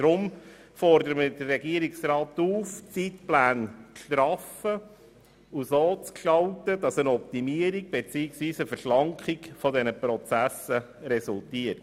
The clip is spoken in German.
Deshalb fordern wir den Regierungsrat dazu auf, die Zeitpläne zu straffen, sodass eine Optimierung beziehungsweise Verschlankung dieser Prozesse daraus resultiert.